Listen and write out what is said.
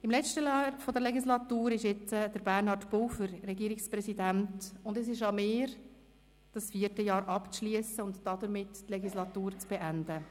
Im letzten Jahr der Legislatur ist nun Bernhard Pulver Regierungspräsident, und es ist an mir, das vierte Jahr abzuschliessen und damit die Legislatur zu beenden.